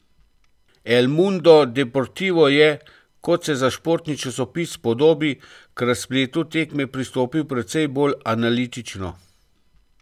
El Mundo Deportivo je, kot se za športni časopis spodobi, k razpletu tekme pristopil precej bolj analitično.